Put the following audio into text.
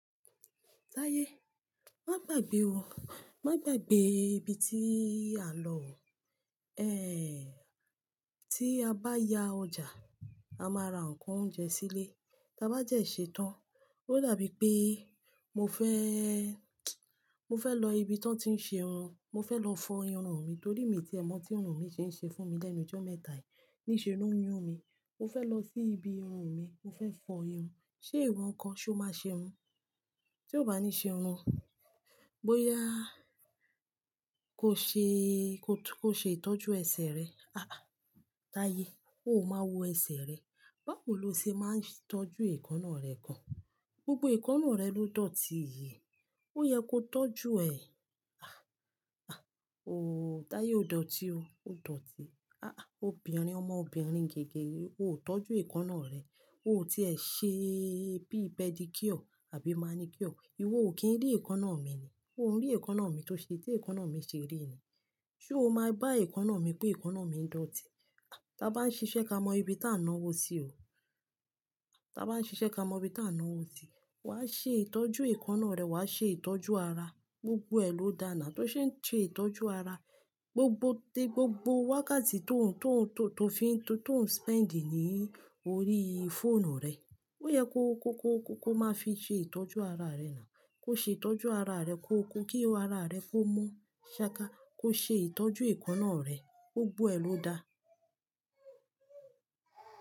Táyé, má gbagbe o. Má gbagbe ibi tíi a n lọ o. Ehn, tí a bá ya ọjà, a máa ra nǹkan oúnjẹ sílé. Ta ba de se tán, ó dàbí pé mo fẹ́, mo fẹ́ lọ ibi tí wọ́n ti ń ṣe irun. Mo fẹ́ lọ fọ irun mi nítorí ìtẹ́mọ́ tí irun mi ṣe ń ṣe fún mi lẹ́nu jọ́ mẹ́ta yìí, ní ṣe ló ń yún mi. Mo fẹ́ lọ sí ibi irun mi, mo fẹ́ fọ irun. Ṣé ìwọ nǹkan ṣe o máa ṣe irun? Tí o bá ní ṣe irun, bóyá kò ṣe, kò ṣe ìtọ́jú ẹsẹ̀ rẹ. Ah! Táyé, o máa wo ẹsẹ̀ rẹ. Báwo lo ṣe máa ń tọ́jú èékánná rẹ kan? Gbogbo èékánná rẹ ló dọ̀tí yii Ó yẹ kó tọ́jú ẹ. Ah! Ah! O, Táyé o dọ̀tí o, o dọ̀tí. Áà! Obìnrin ọmọbìnrin gẹ́gẹ́, o ò tọ́jú èékánná rẹ. O ò ti ṣe bí pedicure àbí manicure. Ìwọ ò kí ń rí èékánná mi ni. Ó ń rí èékánná mi tó ṣe é tí èékánná mi ṣe rí ni. Sé o máa bá èékánná mi pé èékánná mi dọ̀tí? Taa bá ń ṣiṣẹ́ kamọ ibi tá náwó sí o. Taa bá ń ṣiṣẹ́ kamọ ibi tá náwó sí. Wà ṣe ìtọ́jú èékánná rẹ, wà ṣe ìtọ́jú ara. Gbogbo ẹ ló dáa ná. Tó ṣe ń ṣe ìtọ́jú ara, gbogbo-- tí gbogbo wákàtí tó ń, tó ń, tó fi, tó ń spend ní orí fóònù rẹ, ó yẹ kó, kó, kó, kó máa fi ṣe ìtọ́jú ara rẹ ná. Kó ṣe ìtọ́jú ara rẹ, kó, kó kí ara rẹ kó mọ́. Ṣaka, kó ṣe ìtọ́jú èékánná rẹ. Gbogbo ẹ ló dáa.